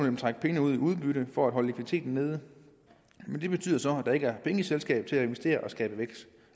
den trække pengene ud i udbytte for at holde likviditeten nede men det betyder så at der ikke er penge i selskabet til at investere for og skabe vækst